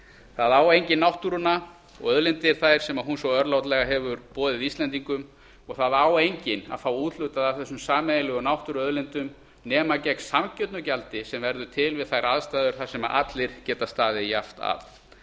það á enginn náttúruna og auðlindir þær sem hún svo örlátlega hefur boðið íslendingum og það á enginn að fá úthlutað af þessum sameiginlegu náttúruauðlindum nema gegn sanngjörnu gjaldi sem verður til við þær aðstæður þar sem allir geta staðið jafnt að